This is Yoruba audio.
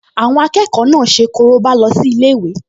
Àwọn akẹ́kọ̀ọ náà ṣe korobá lọ sí ilé-ìwé